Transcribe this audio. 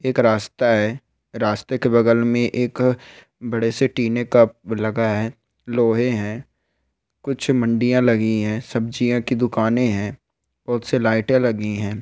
एक रास्ता है रास्ते के बगल में एक बड़े से टीने का लगा है लोहे है कुछ मंडिया लगी है सब्जिया कि दुकाने है बहुत सी लाइटे लगी है।